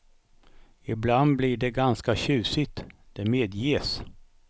Ibland blir det ganska tjusigt, det medges.